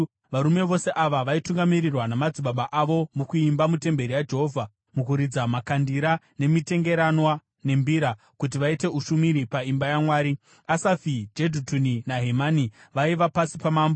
Varume vose ava vaitungamirirwa namadzibaba avo mukuimba mutemberi yaJehovha, nomukuridza makandira nemitengeranwa nembira, kuti vaite ushumiri paimba yaMwari. Asafi, Jedhutuni naHemani vaiva pasi pamambo.